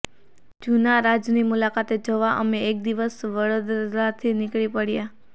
જુનારાજની મુલાકાતે જવા અમે એક દિવસ સવારે વડોદરાથી નીકળી પડ્યા